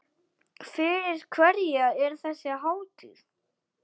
Fyrir hverja er þessi hátíð?